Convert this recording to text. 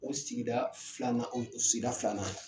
O sigida filanan o sigida filanan ye